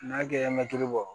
N'a kɛ mɛtiri bɔɔrɔ